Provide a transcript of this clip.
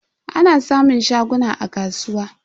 Ana samun shaguna a kasuwa.